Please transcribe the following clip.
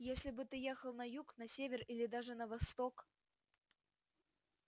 если бы ты ехал на юг на север или даже на восток